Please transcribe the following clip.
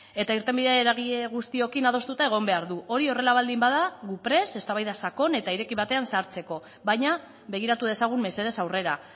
eta irtenbidea eragile guztiekin adostuta egon behar du hori horrela baldin bada gu prest eztabaida sakon eta ireki batean sartzeko baina begiratu dezagun mesedez aurrera